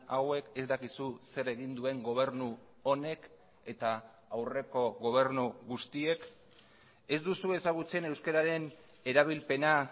hauek ez dakizu zer egin duen gobernu honek eta aurreko gobernu guztiek ez duzu ezagutzen euskararen erabilpena